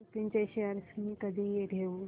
लुपिन चे शेअर्स मी कधी घेऊ